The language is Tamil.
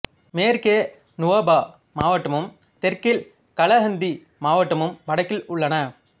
மேற்கே நுவாபா மாவட்டமும் தெற்கில் கலஹந்தி மாவட்டமும் வடக்கில் உள்ளன